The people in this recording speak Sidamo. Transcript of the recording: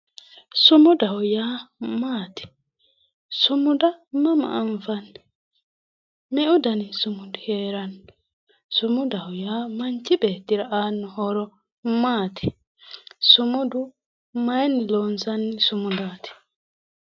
sumudaho yaa maati? sumuda mama anfanni? me''u dani sumudi heeranno? sumudaho yaa manchi beettira aanno horo maati? sumudu mayinni loonsanni sumudaati?